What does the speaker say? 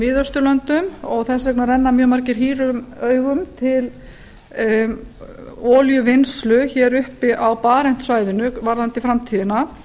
miðausturlöndum og þess vegna renna mjög margir árum augum til olíuvinnslu hér uppi á barentshafinu varðandi framtíðina